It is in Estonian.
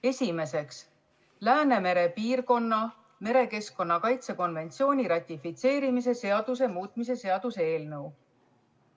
Esimeseks, Läänemere piirkonna merekeskkonna kaitse konventsiooni ratifitseerimise seaduse muutmise seaduse eelnõu.